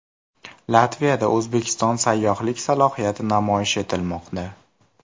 Latviyada O‘zbekiston sayyohlik salohiyati namoyish etilmoqda.